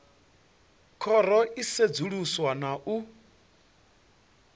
khoro i sedzuluswa na u